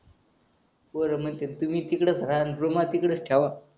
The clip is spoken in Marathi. पोरं म्हणत्यात तुम्हीही तिकडेच राहा अन रुमाही तिकडच ठेवा